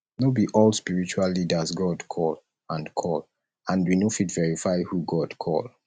no be all spritual leaders god call and call and we no fit verify who god call